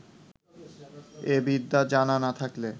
এ বিদ্যা জানা না থাকলে